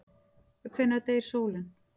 Hvenær deyr sólin?